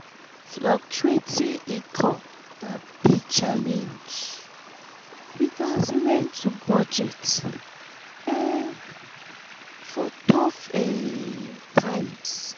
um fluctuating income na big challenge; we gats learn to budget um for tough um times.